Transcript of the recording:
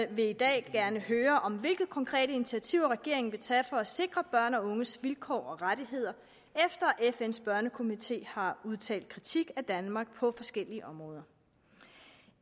vil i dag gerne høre om hvilke konkrete initiativer regeringen vil tage for at sikre børns og unges vilkår og rettigheder efter at fns børnekomité har udtalt kritik af danmark på forskellige områder